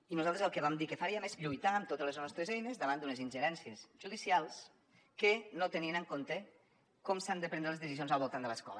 i nosaltres el que vam dir que faríem és lluitar amb totes les nostres eines davant d’unes ingerències judicials que no tenien en compte com s’han de prendre les decisions al voltant de l’escola